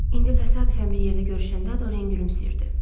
İndi təsadüfən bir yerdə görüşəndə Dorian gülümsəyirdi.